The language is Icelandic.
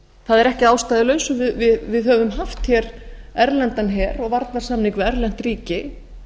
það er ekki að ástæðulausu að við höfum haft hér erlendan her og varnarsamning við erlent ríki